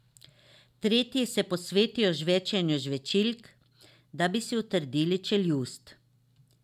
Tretji se posvetijo žvečenju žvečilk, da bi si utrdili čeljust.